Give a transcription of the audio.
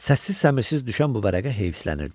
Səssiz-səmirsiz düşən bu vərəqə heyslənirdi.